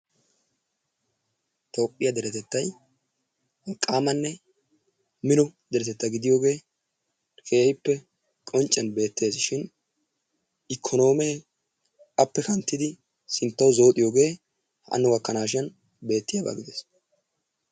Toophiya deretettay wolqqaamanne mino deretetta gidiyoogee keehiipe qoncciyan beettees shin ikononomee appe haakkidi sinttawu zooxxiyooge hanno gakanashin beettiyabaa gidees.